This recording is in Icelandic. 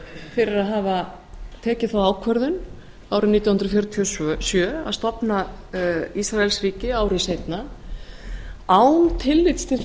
fyrir að hafa tekið þá ákvörðun árið nítján hundruð fjörutíu og sjö að stofna ísraelsríki ári seinna án tillits til